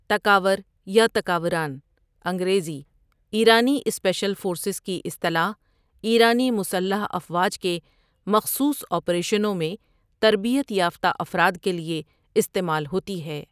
تکاور يا تکاوران انگريزی ايرانی سپيشل فورسز کی اصطلاح ايرانی مسلح افواج کے مخصوص آپریشنوں میں تربیت یافتہ افراد کیلئے استعمال ہوتی ہے